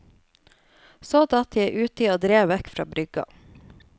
Så datt jeg uti og drev vekk fra brygga.